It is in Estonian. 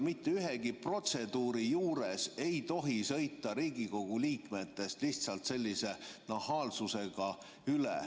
Mitte ühegi protseduuri juures ei tohi sõita Riigikogu liikmetest lihtsalt sellise nahaalsusega üle.